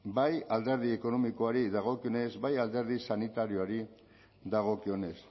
bai alderdi ekonomikoari dagokionez bai alderdi sanitarioari dagokionez